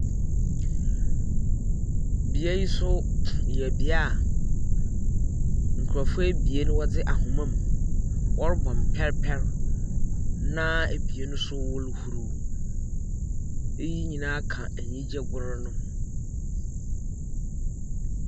Bea yi nso yɛ bea a nkurɔfo ebien a wɔdze ahomam, wɔrobɔ mpɛrpɛr, na ebien nso wɔrohuru. Eyi nyinaa ka anigyegor no ho.